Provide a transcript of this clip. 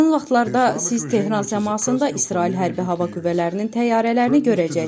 Yaxın vaxtlarda siz Tehran səmasında İsrail hərbi hava qüvvələrinin təyyarələrini görəcəksiniz.